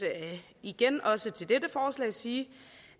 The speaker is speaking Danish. igen også til dette sige